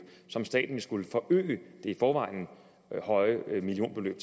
som staten vil skulle forøge det i forvejen høje millionbeløb